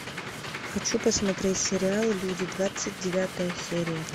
хочу посмотреть сериал люди двадцать девятая серия